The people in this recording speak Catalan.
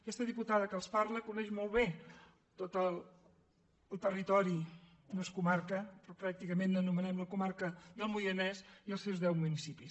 aquesta diputada que els parla coneix molt bé tot el territori no és comarca però pràcticament l’anomenem la comarca del moianès i els seu deu municipis